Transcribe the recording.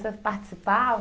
Você participava?